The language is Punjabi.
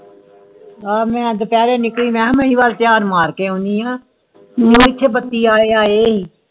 ਆ ਮਈ ਦੁਪਹਿਰੇ ਨਿਕਲੀ ਮਈ ਇਹ ਦੁਪਹਿਰੇ ਧਯਾਨ ਮਾਰ ਕੇ ਆਂਦੀ ਆ ਕਿੰਨੇ ਕੇ ਬੱਤੀ ਆਲੀ ਆਏ